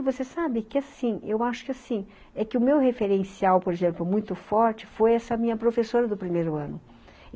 Você sabe que assim, eu acho que assim, é que o meu referencial, por exemplo, muito forte foi essa minha professora do primeiro ano.